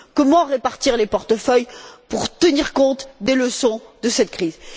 Comment répartir les portefeuilles pour tenir compte des leçons de cette crise?